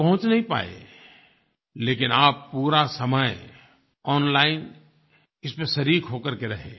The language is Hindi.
आप पहुँच नहीं पाए लेकिन आप पूरा समय ओनलाइन इसमें शरीक हो करके रहे